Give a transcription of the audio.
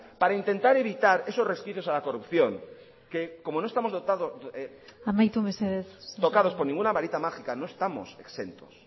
para intentar evitar esos resquicios a la corrupción que como no estamos tocados por ninguna varita mágica no estamos exentos